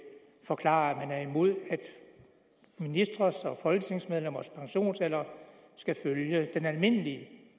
forklare at man er imod at ministres og folketingsmedlemmers pensionsalder skal følge den almindelige